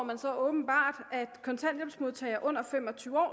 man så åbenbart at kontanthjælpsmodtagere under fem og tyve år